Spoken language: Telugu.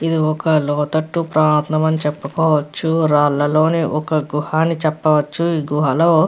ఇది ఒక లోతట్టు ప్రాంతం అని చెప్పుకోవచ్చు రాళ్లలో ఒక గుహ అని చెప్పవచ్చు ఈ గుహలో --